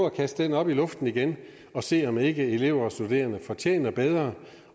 at kaste den op i luften igen og se om ikke elever og studerende fortjener bedre